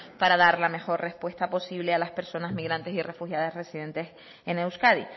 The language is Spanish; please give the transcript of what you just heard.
para dar la mejor respuesta posible a las personas migrantes y refugiadas residentes en euskadi